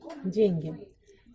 деньги